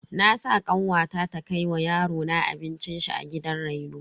Na sa kanwata ta kai wa yarona abincin shi a gidan reno.